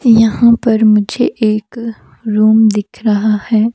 यहां पर मुझे एक रूम दिख रहा है।